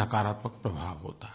नकारात्मक प्रभाव होता है